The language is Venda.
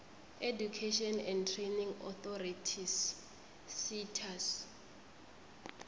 education and training authorities setas